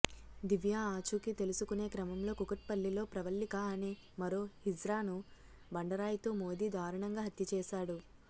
దివ్య ఆచూకీ తెలుసుకునే క్రమంలో కూకట్పల్లిలో ప్రవళ్లిక అనే మరో హిజ్రాను బండరాయితో మోదీ దారుణంగా హత్య చేశాడు